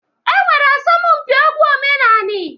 E nwere asọmụmpị egwu omenanị.